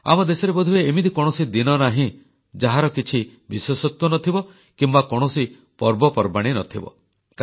ଆମ ଦେଶରେ ବୋଧହୁଏ ଏମିତି କୌଣସି ଦିନ ନାହିଁ ଯାହାର କିଛି ବିଶେଷତ୍ୱ ନ ଥିବ କିମ୍ବା କୌଣସି ପର୍ବପର୍ବାଣୀ ନ ଥିବ